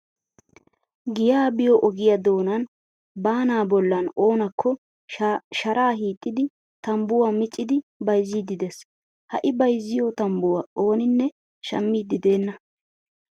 Giyaa biyoo ogiyaa doonan baanaa bollan oonakko sharaa hiixxidi tambbuwaa miccidi bayzziiddi des. Ha I bayizziyoo tambbuwaa ooninne sahmmiiddi deenna.